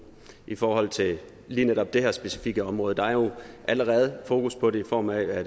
i forhold til lige netop det her specifikke område der er jo allerede fokus på det i form af at